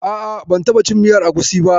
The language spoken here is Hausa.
A'a, ban taɓa cin miyar agusi ba.